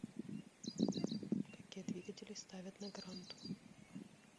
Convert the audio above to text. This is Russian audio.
какие двигатели ставят на гранту